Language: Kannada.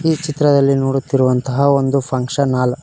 ಈ ಚಿತ್ರದಲ್ಲಿ ನೋಡುತ್ತಿರುವ ಅಂತಹ ಒಂದು ಫಂಕ್ಷನ್ ಹಾಲ್ .